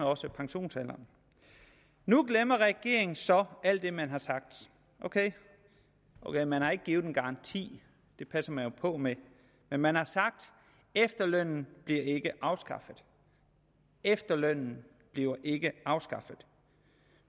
også pensionsalderen nu glemmer regeringen så alt det man har sagt ok man har ikke givet en garanti det passer man jo på med men man har sagt efterlønnen bliver ikke afskaffet efterlønnen bliver ikke afskaffet